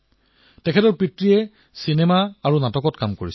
আজি তেওঁলোকৰ সন্তানে ভাৰতৰ ৰাষ্ট্ৰগান সহজে গাব পাৰে